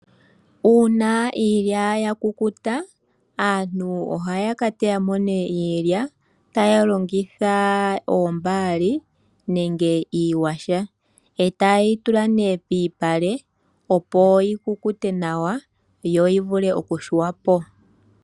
Uuna iilya ya kukuta, aantu oha ya ka teya mo nee iilya taya longitha oombaali nenge iiyaha, eta ye yi tula pomalupale opo yi kukute nawa yo yi vule oku yungulwa po.